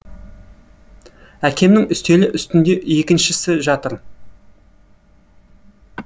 әкемнің үстелі үстінде екіншісі жатыр